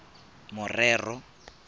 morero